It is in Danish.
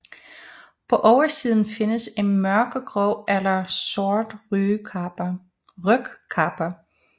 På oversiden findes en mørkegrå eller sort rygkappe